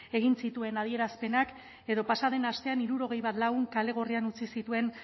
egin zituen adierazpenak edo pasa den astean hirurogei bat lagun kale gorrian utzi zituen